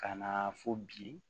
Ka na fo bi